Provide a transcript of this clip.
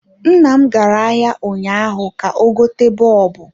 Nnam gara ahịa ụnyaahụ ka ọ gote bọlbụ